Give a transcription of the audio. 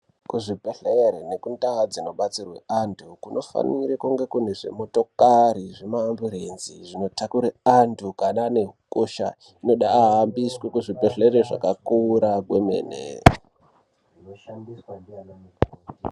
Kuzvibhedhleri nekundaa dzinobatsirwe antu kunofanire kunge kune zvimotokari zvima amburenzi zvino takure antu kana ane hukosha inoda aahambiswe kuzvibhedhleri zvakakura kwemene.